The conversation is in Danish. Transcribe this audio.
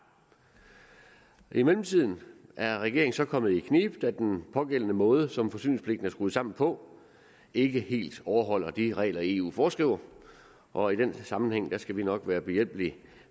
i mellemtiden er regeringen så kommet i knibe da den pågældende måde som forsyningspligten er skruet sammen på ikke helt overholder de regler eu foreskriver og i den sammenhæng skal vi nok være behjælpelig